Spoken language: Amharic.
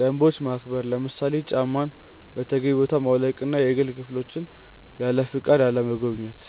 ደንቦች ማክበር፣ ለምሳሌ ጫማን በተገቢው ቦታ ማውለቅና የግል ክፍሎችን ያለፈቃድ አለመጎብኘት።